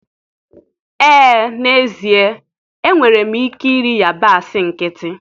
Ee n'ezie, enwere m ike iri yabasị nkịtị.